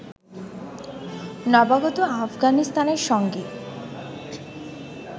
নবাগত আফগানিস্তানের সঙ্গে